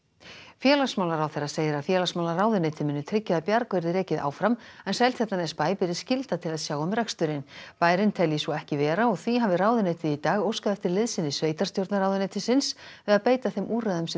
félagsmálaráðherra segir að félagsmálaráðuneytið muni tryggja að Bjarg verði rekið áfram en Seltjarnarnesbæ beri skylda til að sjá um reksturinn bærinn telji svo ekki vera og því hafi ráðuneytið í dag óskað eftir liðsinni sveitarstjórnarráðuneytisins við að beita þeim úrræðum sem